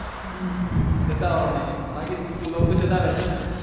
હમ જતાવાનું નહિ બાકી લોક તો જતાવે છે